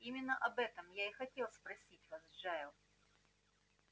именно об этом я и хотел спросить вас джаэль